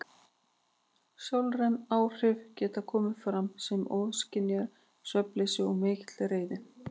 Sálræn áhrif geta komið fram sem ofskynjanir, svefnleysi og mikil reiði.